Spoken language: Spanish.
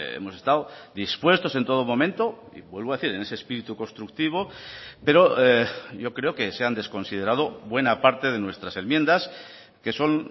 hemos estado dispuestos en todo momento y vuelvo a decir en ese espíritu constructivo pero yo creo que se han desconsiderado buena parte de nuestras enmiendas que son